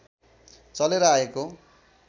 चलेर आएको